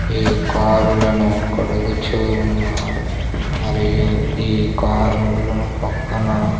ఈ కారులను కడుగుచూ ఉన్నారు మరియు ఈ కారులో పక్కన--